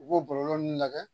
U b'o bɔlɔlɔ ninnu lajɛ